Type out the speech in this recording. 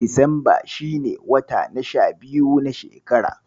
Disamba shine wata na sha biyu na shekara.